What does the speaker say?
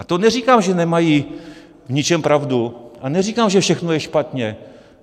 A to neříkám, že nemají v ničem pravdu, a neříkám, že všechno je špatně.